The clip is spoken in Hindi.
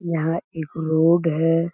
यहाँ एक रोड हैं।